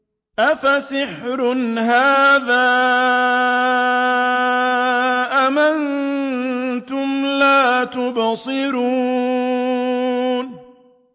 أَفَسِحْرٌ هَٰذَا أَمْ أَنتُمْ لَا تُبْصِرُونَ